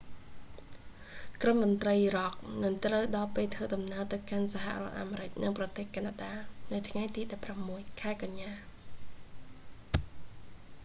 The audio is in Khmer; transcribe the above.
ក្រុមតន្រ្តីរ៉ុកនឹងត្រូវដល់ពេលធ្វើដំណើរទៅកាន់សហរដ្ឋអាមេរិក និងប្រទេសកាណាដា នៅថ្ងៃទី16 ខែកញ្ញា